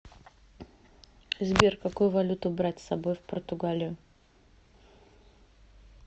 сбер какую валюту брать с собой в португалию